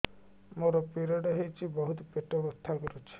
ମୋର ପିରିଅଡ଼ ହୋଇଛି ବହୁତ ପେଟ ବଥା କରୁଛି